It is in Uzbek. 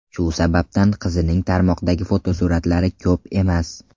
Shu sababdan qizining tarmoqdagi fotosuratlari ko‘p emas.